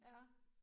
Ja